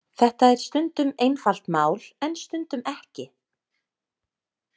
Þetta er stundum einfalt mál en stundum ekki.